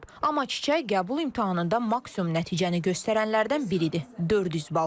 Amma Çiçək qəbul imtahanında maksimum nəticəni göstərənlərdən biridir - 400 bal.